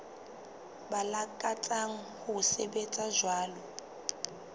ba lakatsang ho sebetsa jwalo